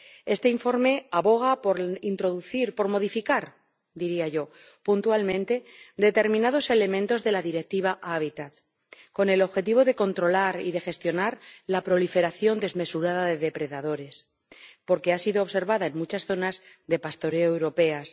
Este informe aboga por introducir —por modificar, diría yo— puntualmente determinados elementos de la Directiva Hábitats, con el objetivo de controlar y de gestionar la proliferación desmesurada de depredadores, que ha sido observada en muchas zonas de pastoreo europeas.